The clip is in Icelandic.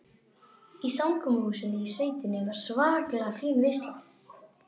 Í samkomuhúsinu í sveitinni var svakalega fín veisla.